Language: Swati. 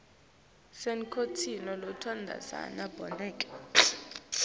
kunenculo lotsandvwa bomake